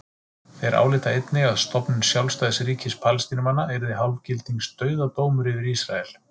Þeir álíta einnig að stofnun sjálfstæðs ríkis Palestínumanna yrði hálfgildings dauðadómur yfir Ísrael.